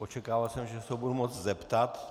Očekával jsem, že se ho budu moci zeptat.